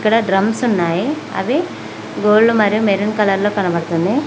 కింద డ్రమ్స్ ఉన్నాయి అవి గోల్డ్ మరియు మెరూన్ కలర్ లో కనబడుతుంది